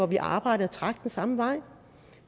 vi arbejdede og trak den samme vej